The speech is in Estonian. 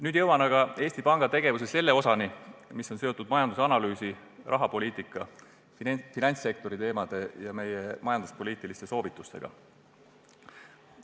Nüüd jõuan aga Eesti Panga tegevuse selle osani, mis on seotud majandusanalüüsi, rahapoliitika, finantssektori teemade ja meie majanduspoliitiliste soovitustega.